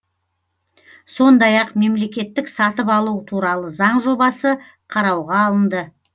сондай ақ мемлекеттік сатып алу туралы заң жобасы қарауға алынды